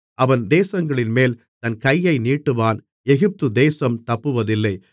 அவன் தேசங்களின்மேல் தன் கையை நீட்டுவான் எகிப்துதேசம் தப்புவதில்லை